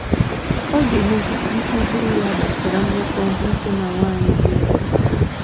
Ọ ga - emezi ka ịkụziri ya gbasara mmekọ nwoke na nwaanyị dị mfe.